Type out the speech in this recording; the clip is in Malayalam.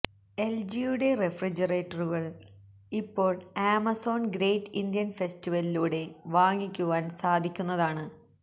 എൽജിയുടെ റെഫ്രിജറേറ്ററുകൾ ഇപ്പോൾ ആമസോൺ ഗ്രേറ്റ് ഇന്ത്യൻ ഫെസ്റ്റിവലിലൂടെ വാങ്ങിക്കുവാൻ സാധിക്കുന്നതാണ്